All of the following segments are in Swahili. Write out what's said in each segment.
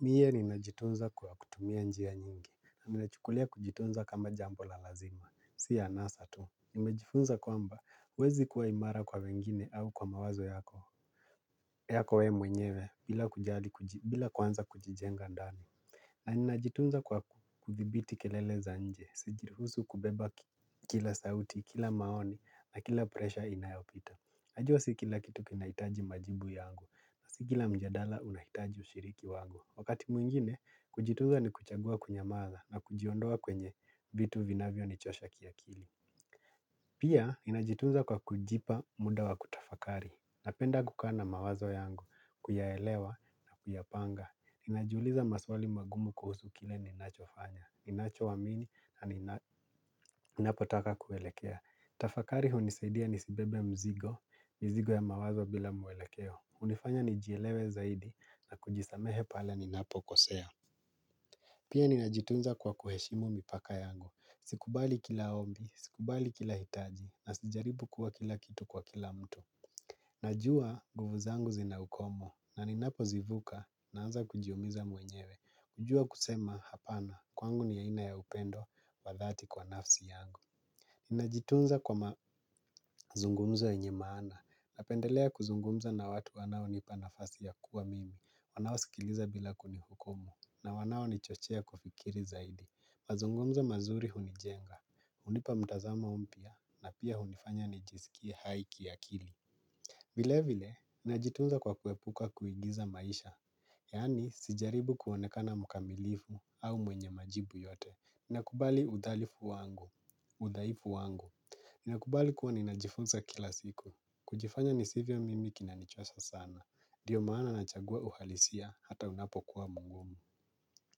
Mie ninajitunza kwa kutumia njia nyingi, nimechukulia kujitunza kama jambo la lazima, si ya anasa tu. Nimejifunza kwamba, uwezi kuwa imara kwa wengine au kwa mawazo yako, yako wewe mwenyewe, bila kujali, bila kuanza kujijenga ndani. Na ninajitunza kwa kudhibiti kelele za nje, sijiriruhusu kubeba kila sauti, kila maoni, na kila presha inayopita. Najua si kila kitu kinahitaji majibu yangu, si kila mjadala unahitaji ushiriki wangu. Wakati mwingine, kujitumza ni kuchagua kunyamaza na kujiondoa kwenye vitu vinavyo nichosha kiakili. Pia, ninajitunza kwa kujipa muda wa kutafakari. Napenda kukaa na mawazo yangu, kuyaelewa na kuyapanga. Najiuliza maswali magumu kuhusu kile ninacho fanya. Ninachoamini na ninapotaka kuelekea. Tafakari hunisaidia nisibebe mzigo mizigo ya mawazo bila mwelekeo. Unifanya nijielewe zaidi. Na kujisamehe pale ninapo kosea. Pia ninajitunza kwa kuheshimu mipaka yangu. Sikubali kila ombi. Sikubali kila hitaji. Na sijaribu kuwa kila kitu kwa kila mtu. Najua nguvu zangu zina ukomo. Na ninapo zivuka naanza kujiumiza mwenyewe. Kujua kusema hapana. Kwangu ni aina ya upendo wa dhati kwa nafsi yangu. Ninajitunza kwa mazungumzo yenye maana, napendelea kuzungumza na watu wanaonipa nafasi ya kuwa mimi, wanao sikiliza bila kunihukumu, na wanao nichochea kufikiri zaidi, mazungumzo mazuri hunijenga, unipa mtazamo mpya, na pia hunifanya nijisikie hai kiakili. Vile vile, ninajitunza kwa kuepuka kuigiza maisha, yani sijaribu kuonekana mkamilifu au mwenye majibu yote, ninakubali udhalifu wangu, udhaifu wangu ninakubali kuwa ninajifunza kila siku, kujifanya nisivyo mimi kinanichosha sana, ndiyo maana nachagua uhalisia hata unapo kuwa mugumu.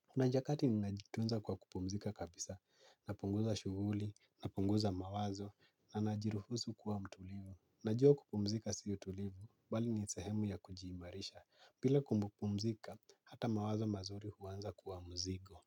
Kuna nyakati ninajitunza kwa kupumzika kabisa, napunguza shuguli, napunguza mawazo, na najiruhusu kuwa mtulivu. Najua kupumzika si utulivu, bali ni sehemu ya kujiimarisha, pila kupumzika, hata mawazo mazuri huwanza kuwa mzigo.